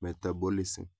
metabolism